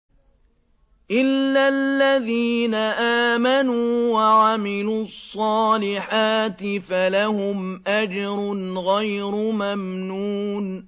إِلَّا الَّذِينَ آمَنُوا وَعَمِلُوا الصَّالِحَاتِ فَلَهُمْ أَجْرٌ غَيْرُ مَمْنُونٍ